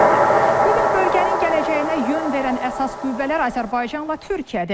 Bu gün bölgənin gələcəyinə yön verən əsas qüvvələr Azərbaycanla Türkiyədir.